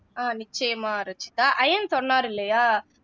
அஹ் நிச்சயமா ரச்சிதா ஐயன் சொல்லாரு இல்லையா